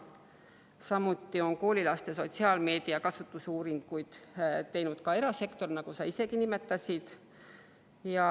Samuti on koolilaste sotsiaalmeedia kasutamise uuringuid teinud erasektor, nagu sa isegi nimetasid.